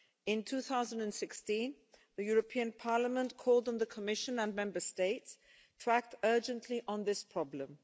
In 2016 the European Parliament called on the Commission and Member States to act urgently on this problem.